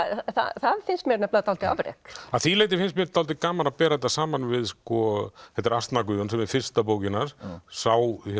það finnst mér dálítið afrek að því leyti finnst mér dálítið gaman að bera þetta saman við þetta eru asnar Guðjón sem er fyrsta bókin hans sá